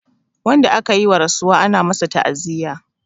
Wanda akayi wa rasuwa ana masu ta'aziya